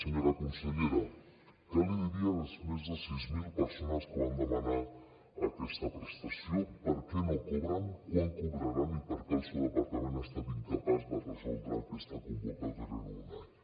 senyora consellera què li diria a les més de sis mil persones que van demanar aquesta prestació per què no cobren quan cobraran i per què el seu departament ha estat incapaç de resoldre aquesta convocatòria en un any